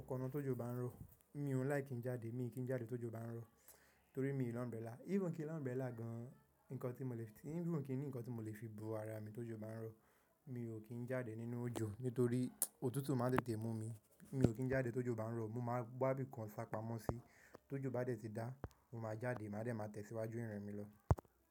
Ọkọ̀ náà tójò bá ń rọ, mi ò n láìkí ki n jáde. Mi kì ń jáde tójò bá ń rọ, torí mi ò ní umbrella. Even kí n ni umbrella gan, even kí ní nǹkan tí mo lè fi bo ara mi tójò bá ń rọ, mi ò kí ń jáde nínú òjò nítorí òtútù máa ń tètè mú mi. Mi ò kí ń jáde tójò bá ń rọ, mo máa wá bí kan sá pamọ́ sí. Tójò bá dè tí dá, mo máa jáde, màá dẹ̀ máa tẹ̀síwájú ìrìn mi lọ.